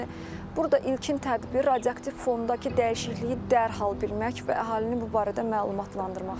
Yəni burda ilkin tədbir radioaktiv fondakı dəyişikliyi dərhal bilmək və əhalini bu barədə məlumatlandırmaqdır.